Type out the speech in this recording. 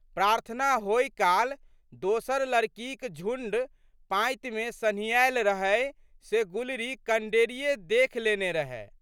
प्रार्थना होइ काल दोसर लड़कीक झुण्ड पाँतिमे सन्हियैल रहै से गुलरी कनडेरिये देखि लेने रहए।